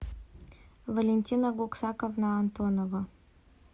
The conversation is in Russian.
валентина гуксаковна антонова